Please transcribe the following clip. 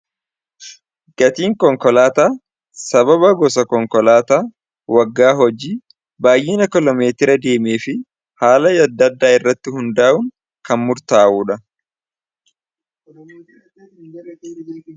Gatiin konkolaataa sababa gosa konkolaataa waggaa hojii baay'ina kiloomeetira deemee fi haala adda addaa irratti hundaa'uun kan murtaa'uudha